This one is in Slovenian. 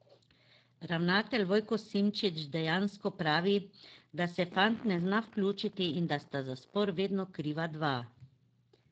Ravnatelj Vojko Simčič dejansko pravi, da se fant ne zna vključiti in da sta za spor vedno kriva dva.